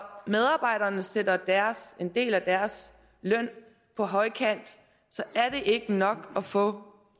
medarbejderne sætter en del af deres løn på højkant er det ikke nok at få